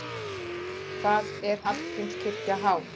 Hvað er Hallgrímskirkja há?